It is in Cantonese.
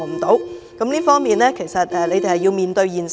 在這方面，政府要面對現實。